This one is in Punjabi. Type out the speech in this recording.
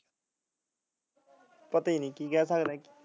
ਪਤੀ ਨੀ ਕੀ ਕਹਿ ਸਕਦੇ ਐ